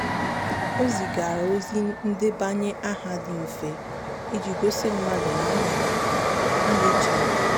o zigara ozi ndebanye aha dị mfe iji gosi mmadụ na a na a na-eche maka ya.